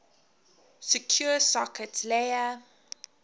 secure sockets layer